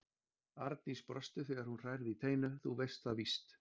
Arndís brosti þegar hún hrærði í teinu: Þú veist það víst.